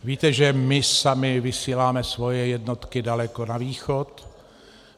Víte, že my sami vysíláme svoje jednotky daleko na východ.